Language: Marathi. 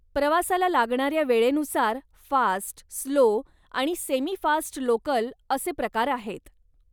प्रवासाला लागणाऱ्या वेळेनुसार फास्ट, स्लो आणि सेमी फास्ट लोकल असे प्रकार आहेत.